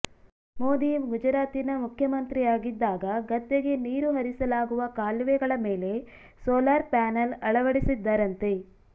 ಮೋದಿ ಗುಜರಾತಿನ ಮುಖ್ಯ ಮಂತ್ರಿಯಾಗಿದ್ದಾಗ ಗದ್ದೆಗೆ ನೀರು ಹರಿಸಲಾಗುವ ಕಾಲುವೆಗಳ ಮೇಲೆ ಸೋಲಾರ್ ಪ್ಯಾನಲ್ ಅಳವಡಿಸಿದ್ದರಂತೆ